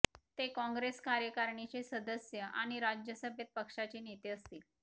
ते काँग्रेस कार्यकारणीचे सदस्य आणि राज्यसभेत पक्षाचे नेते असतील